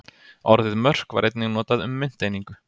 Orðið mörk var einnig notað um mynteiningu.